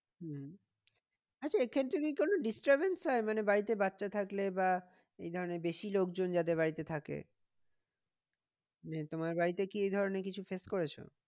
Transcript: হম আচ্ছা এ ক্ষেত্রে কি কোনো disturbance মানে বাড়িতে বাচ্চা থাকলে বা এই ধরণের বেশি লোকজন যাদের বাড়িতে থাকে মানে তোমার বাড়িতে কি এই ধরণের কিছু face করেছো?